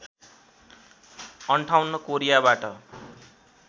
५८ कोरियाबाट